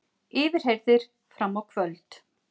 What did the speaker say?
Yfirheyrðir fram á kvöld